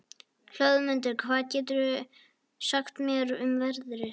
Hlöðmundur, hvað geturðu sagt mér um veðrið?